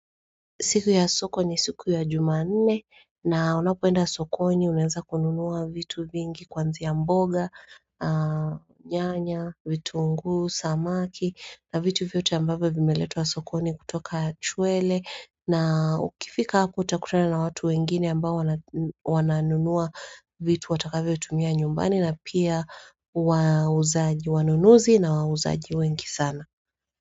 Siku ya soko ni siku ya jumanne na unapoenda soko ni unaenza kununua vitu vingi kuanzia mboga, nyanya, vitunguu, samaki na vitu vyote ambapo vimeletwa soko ni kutoka chwele na ukifika hapo utakutana na watu wengine ambao wananunua vitu watakavyo tumia nyumbani na pia wanunuzi na wauzaji wengi sana.